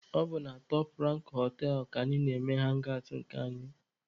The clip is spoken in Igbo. Ọ bụ na Top Rank họtelụ ka anyị na-eme hangi awụt nke anyị.